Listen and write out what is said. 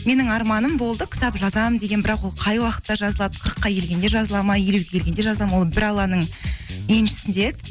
менің арманым болды кітап жазамын деген бірақ ол қай уақытта жазылады қырыққа келгенде жазылады ма елуге келгенде жазылады ма ол бір алланың еншісінде еді